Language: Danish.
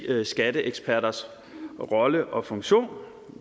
skatteeksperters rolle og funktion